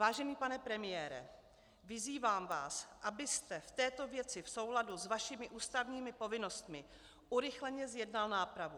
Vážený pane premiére, vyzývám vás, abyste v této věci v souladu s vašimi ústavními povinnostmi urychleně zjednal nápravu.